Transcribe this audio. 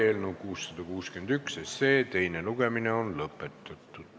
Eelnõu 661 teine lugemine on lõpetatud.